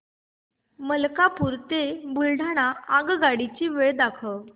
मलकापूर ते बुलढाणा आगगाडी ची वेळ दाखव